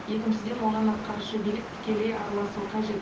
екіншіден оған атқарушы билік тікелей араласуы қажет